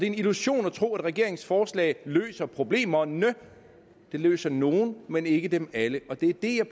en illusion at tro at regeringens forslag løser problemerne det løser nogle af men ikke dem alle det jeg